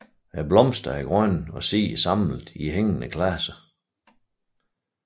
Blomsterne er grønne og sidder samlet i hængende klaser